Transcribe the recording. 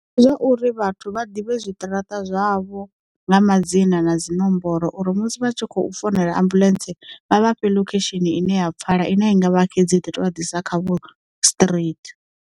Ndi zwauri vhathu vha ḓivhe zwiṱaraṱa zwavho nga madzina na dzinomboro uri musi vhatshi khou founela ambuḽentse vha vha fhe lokhesheni ine ya pfala ine a i ngavha xedzi iḓo tovha ḓisa khavho straight.